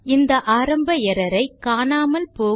இந்த ஆரம்ப எர்ரர் ஐ காணாமல் போக